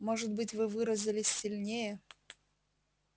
может быть вы выразились сильнее